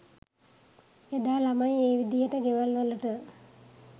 එදා ළමයි ඒ විදිහට ගෙවල්වලට